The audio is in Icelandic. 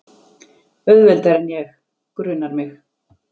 Auðveldari en ég, grunar mig.